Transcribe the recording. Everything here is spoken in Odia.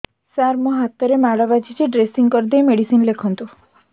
ସାର ମୋ ହାତରେ ମାଡ଼ ବାଜିଛି ଡ୍ରେସିଂ କରିଦେଇ ମେଡିସିନ ଲେଖନ୍ତୁ